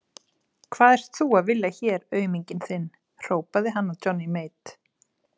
Hvað ert þú að vilja hér auminginn þinn, hrópaði hann að Johnny Mate.